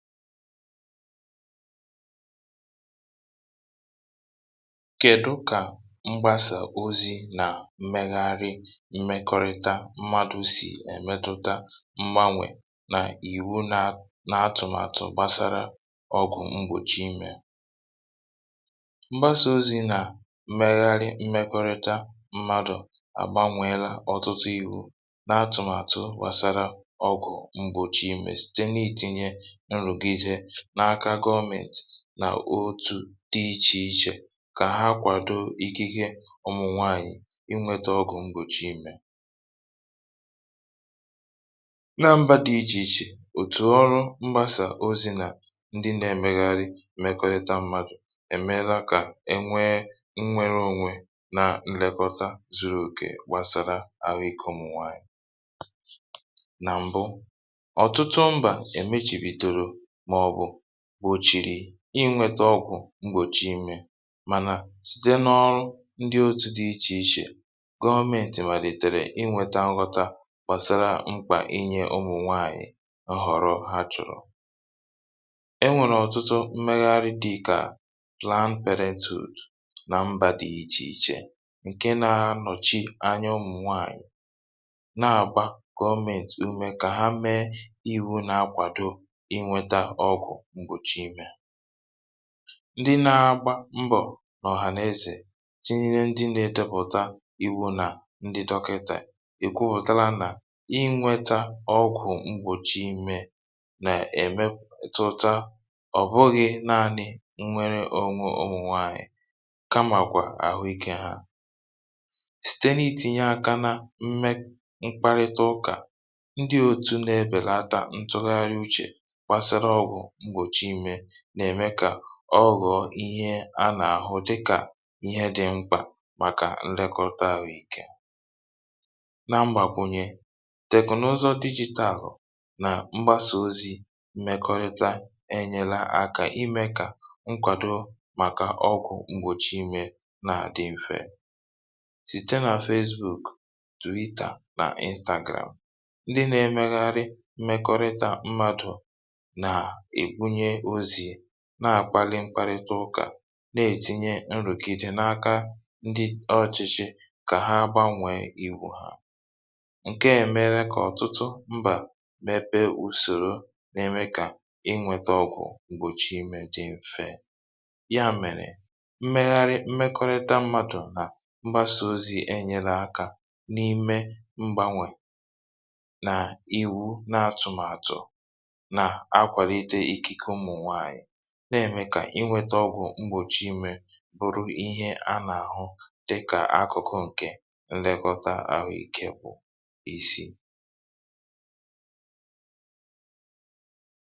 kèdu kà mgbasà ozi̇ nà mmegharị mmekọrịta mmadụ̇ sì èmetụta mgbanwè nà ìwu nà n’atụ̀màtụ̀ gbasara ọgụ̀ mgbòchi imė? mgbasà ozi̇ nà mmegharị mmekọrịta mmadụ̀ àgbanwèela ọ̀tụtụ iwu̇ n’atụ̀màtụ̀ gbasara ọgụ̀ mgbòchi imė n’aka gọmị̀nt nà otù dị ichè ichè, kà ha kwàdo ikike ụmụ̀ nwaànyị̀ inwėtȧ ọgụ̀ mgbòchi imė na mbȧ dị ichè ichè. òtù ọrụ̇ mgbasà ozi̇ nà ndị nà-èmegharị mèkọrịta mmadụ̀ èmela kà e nwee nnwere ȯnwė na nlekọta zuru òkè gbàsara ha ikė ụmụ̀ nwaànyị̀. nà m̀bụ, ọ̀tụtụ mbà èmechìpìtèrè inwėtȧ ọgwụ̀ mgbòchi imė, mànà site n’ọrụ ndị otu̇ dị̇ ichè ichè gọọmentì mà lìtèrè, inwėtȧ nghọta gbàsara mkpà inyė ụmụ̀ nwaànyị̀ nhọ̀rọ ha chọ̀rọ̀. enwèrè ọ̀tụtụ mmegharị dị̇ kà plant pèrentị̀ù nà mbà dị̇ ichè ichè, ǹke nȧ ha nọ̀chi anya ụmụ̀ nwaànyị̀ na-àgba gọọmentì umė kà ha mee. ndị na-agba mbọ̀ n’ọ̀hàna-ezè tinye, ndị na-edepụ̀ta iwu̇ nà ndị dọkịtà èkwupụ̀tala nà inwėtȧ ọgwụ̀ mgbòchi imė nà-èmepù tụtȧ, ọ̀ bụghị̇ naȧnị̇ nnwere ònwe òmùnwaànyị, kamàkwà àhụ ikė ha site n’itìnyè aka na mmekparịta ụkà. ọ nà-ème kà ọghọ̀ọ̀ ihe a nà-àhụ dịkà ihe dị̇ mkpà, màkà nlekọta àhụikė. na mgbàkwùnyè teknụzọ̇ digital, nà mgbasà ozi̇ mmekọrịta, ènyela akȧ imė kà nkwàdo màkà ọgwụ̇ mgbòchi imė nà dị m̀fe site nà Facebook, Twitter nà Instagram. ndị na-emegharị mmekọrịta mmadụ̀ na-àkpalị mkparịta ụkà, na-ètinye nrụ̀gide n’aka ndị ọchịchị kà ha gbanwèe iwu̇ ha. ǹke à mere kà ọ̀tụtụ mbà mepe ùsòro n’ime, kà inwėtȧ ọgwụ̀ m̀gbòchì imė dị mfe. ya mèrè mmegharị mmekọrịta mmadụ̀ nà mgbasa ozi e nyere akȧ n’ime mgbanwè nà iwu na-atụ̀màtụ̀, na-ème kà inwėtȧ ọgwụ̀ mgbòchi imė bụ̀rụ̀ ihe a nà-àhụ dịkà akụ̀kụ, ǹkè ǹlegọta àhụ ikė pụ̀ isi.